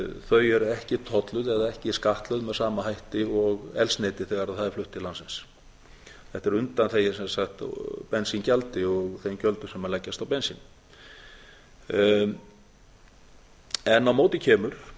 þau eru ekki tolluð eða ekki skattlögð með sama hætti og eldsneyti þegar það er flutt til landsins þetta er undanþegið sem sagt bensíngjaldi og þeim gjöldum sem leggjast á bensín á móti kemur